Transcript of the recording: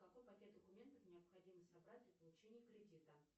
какой пакет документов необходимо собрать для получения кредита